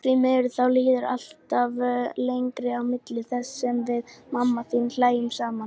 Því miður, þá líður alltaf lengra á milli þess sem við mamma þín hlæjum saman.